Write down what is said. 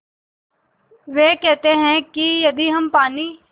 वे कहते हैं कि यदि हम पानी